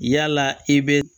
Yala i bɛ